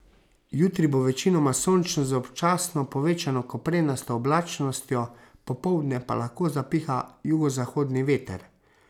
Jutri bo večinoma sončno z občasno povečano koprenasto oblačnostjo, popoldne pa lahko zapiha jugozahodni veter.